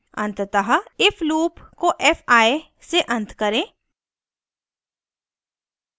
अंततः if loop को fi F I से अंत करें